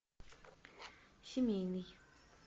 семейный